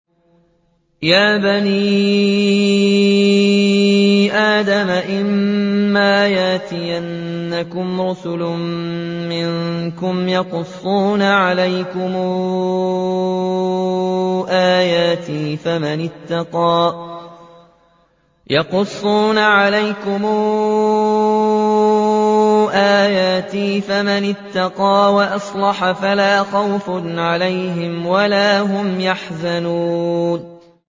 يَا بَنِي آدَمَ إِمَّا يَأْتِيَنَّكُمْ رُسُلٌ مِّنكُمْ يَقُصُّونَ عَلَيْكُمْ آيَاتِي ۙ فَمَنِ اتَّقَىٰ وَأَصْلَحَ فَلَا خَوْفٌ عَلَيْهِمْ وَلَا هُمْ يَحْزَنُونَ